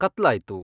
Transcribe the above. ಕತ್ಲಾಯ್ತು